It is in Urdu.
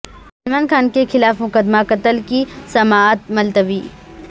سلمان خان کےخلاف مقد مہ قتل کی سماعت ملتوی